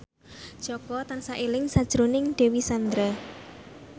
Jaka tansah eling sakjroning Dewi Sandra